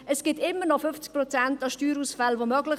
Es sind immer noch 50 Prozent Steuerausfälle möglich.